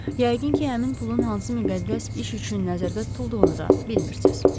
Yəqin ki, həmin pulun hansı müqəddəs iş üçün nəzərdə tutulduğunu da bilmirsiniz.